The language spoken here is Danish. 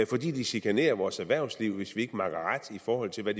fordi de chikanerer vores erhvervsliv hvis vi ikke makker ret i forhold til hvad